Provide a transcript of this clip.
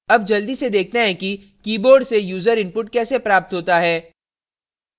अब जल्दी से देखते हैं कि keyboard से यूज़र input कैसे प्राप्त होता है